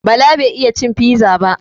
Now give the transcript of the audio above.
Bala bai iya cin fiza ba